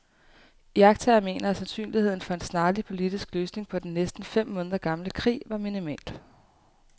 Iagttagere mener, at sandsynligheden for en snarlig politisk løsning på den næsten fem måneder gamle krig var minimal.